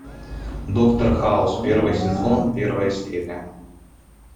доктор хаус первый сезон первая серия